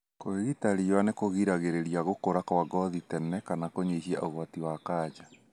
Kwĩgita riua nĩkũgiragĩrĩria gũkura kwa ngothi tene na kũnyihia ũgwati wa kanja.